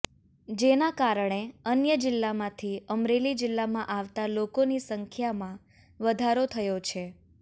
જેના કારણે અન્ય જિલ્લામાંથી અમરેલી જિલ્લામાં આવતાં લોકોની સંખ્યામાં વધારો થયો છે